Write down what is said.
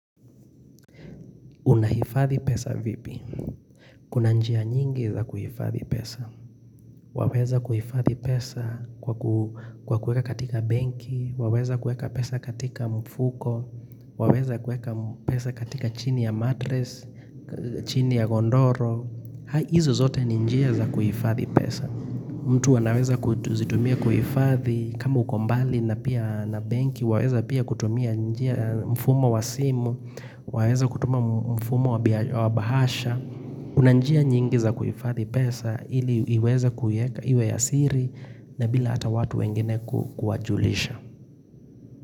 Unaifadhi pesa vipi? Kuna njia nyingi za kuhifadhi pesa Waweza kuhifadhi pesa kwa kueka katika benki Waweza kueka pesa katika mfuko Waweza kueka pesa katika chini ya matres chini ya godoro hizo zote ni njia za kuhifadhi pesa mtu anaweza kuzitumia kuhifadhi kama ukombali na benki Waweza pia kutumia njia mfumo wa simu Waweza kutuma mfumo wabahasha, unanjia nyingi za kuyifadhi pesa ili iweza kuiweka iwe ya siri na bila hata watu wengine kuwajulisha.